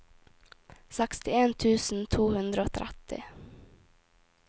sekstien tusen to hundre og tretti